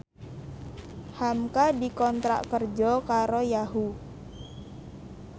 hamka dikontrak kerja karo Yahoo!